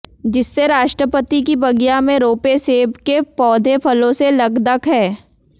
जिससे राष्ट्रपति की बगिया में रोपे सेब के पौधे फलों से लकदक हैं